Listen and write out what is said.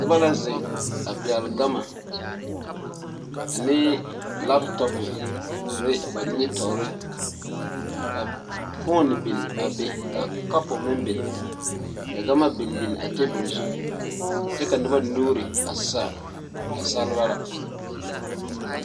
Noba la zeŋ a pɛgle gama ane lapetɔpe a ba nimitɔɔre ka foni biŋ a be ka kapu meŋ biŋ ka gama biŋ biŋ a tabol zu kyɛ ka noba nuuri a sãã nasaalba la.